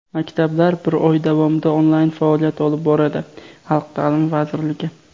Maktablar bir oy davomida onlayn faoliyat olib boradi — Xalq ta’limi vazirligi.